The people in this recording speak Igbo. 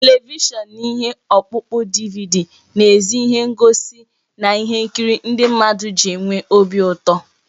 Televishọn na ihe ọkpụkpọ DiViDi na-eji ihe ngosi na ihe nkiri ndị mmadụ na-enwe obi ụtọ.